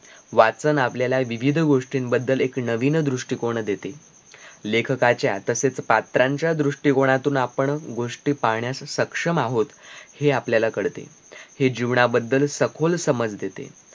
वाचन आपल्याला विविध गोष्टींबद्दल एक नवीन दृष्टीकोन देते लेखकाच्या तसेच पात्रांच्या दृष्टीकोनातून आपण गोष्टी पाहण्यास सक्षम आहोत हे आपल्याला कळते हे जीवनाबद्दल सखोल समज देते